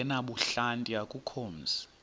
ongenabuhlanti akukho mzi